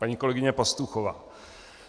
Paní kolegyně Pastuchová.